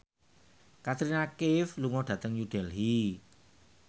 Katrina Kaif lunga dhateng New Delhi